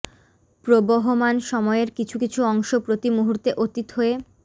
প্রবহমান সময়ের কিছু কিছু অংশ প্রতি মুহূর্তে অতীত হয়ে